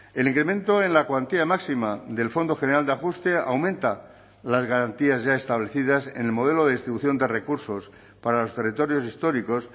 el incremento en la cuantía máxima del fondo general de ajuste aumenta las garantías ya establecidas en el modelo de distribución de recursos para los territorios históricos